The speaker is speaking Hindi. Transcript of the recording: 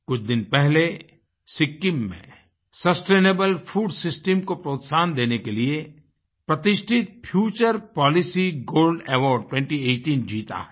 कुछ दिन पहले सिक्किम में सस्टेनेबल फूड सिस्टम को प्रोत्साहन देने के लिए प्रतिष्ठित फ्यूचर पॉलिसी गोल्ड अवार्ड 2018 जीताहै